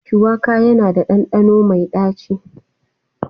Shuwaka yana da ɗanɗano mai ɗaci.